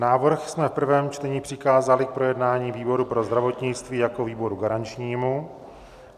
Návrh jsme v prvém čtení přikázali k projednání výboru pro zdravotnictví jako výboru garančnímu.